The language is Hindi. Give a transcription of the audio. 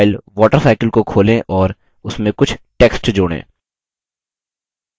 draw file water cycle को खोलें और इसमें कुछ text जोड़ें